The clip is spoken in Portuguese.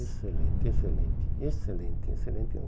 Excelente, excelente, excelente, excelente mesmo.